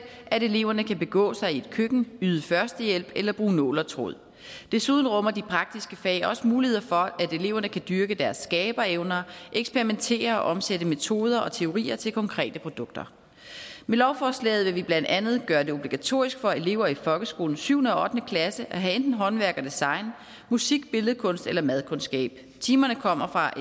at eleverne kan begå sig i et køkken yde førstehjælp eller bruge nul og tråd desuden rummer de praktiske fag også mulighed for at eleverne kan dyrke deres skaberevner eksperimentere og omsætte metoder og teorier til konkrete produkter med lovforslaget vil vi blandt andet gøre det obligatorisk for elever i folkeskolens syvende og ottende klasse at have enten håndværk og design musik billedkunst eller madkundskab timerne kommer fra